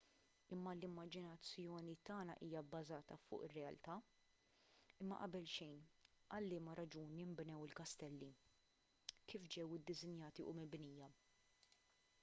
imma l-immaġinazzjoni tagħna hija bbażata fuq ir-realtà imma qabel xejn għal liema raġuni nbnew il-kastelli kif ġew iddisinjati u mibnija